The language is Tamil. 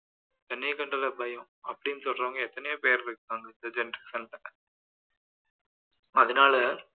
தண்ணியை கண்டாலே பயம் அப்படீன்னு சொல்றவங்க எத்தனையோ பேர் இருக்கிறாங்க இந்த generation ல அதனால